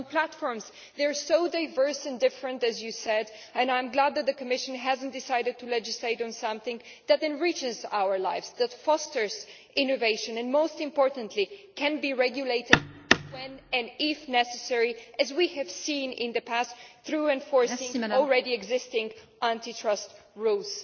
On platforms, they are so diverse and different, as you said, and I am glad the Commission has not decided to legislate on something that enriches our lives, that fosters innovation and, most importantly, can be regulated when and if necessary, as we have seen in the past through enforcing existing anti trust rules.